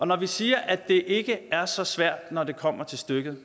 når vi siger at det ikke er så svært når det kommer til stykket